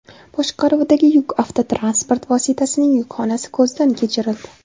boshqaruvidagi yuk avtotransport vositasining yukxonasi ko‘zdan kechirildi.